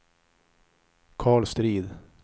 Karl Strid